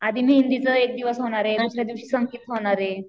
आधी मेहंदीच्या एक दिवस होणारे, दुसऱ्या दिवशी संगीत होणारे.